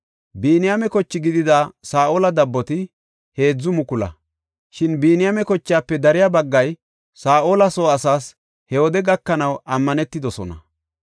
Biniyaame koche gidida Saa7ola dabboti 3,000. Shin Biniyaame kochaafe dariya baggay Saa7ola soo asaas he wode gakanaw ammanetidosona.